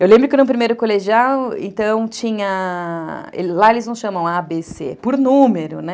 Eu lembro que no primeiro colegial, então, tinha... Lá eles não chamam a, bê, cê. Por número, né?